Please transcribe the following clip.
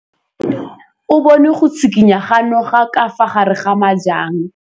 O bone go tshikinya ga noga ka fa gare ga majang.